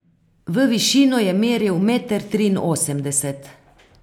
V višino je meril meter triinosemdeset.